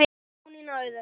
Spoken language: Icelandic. Jónína Auður.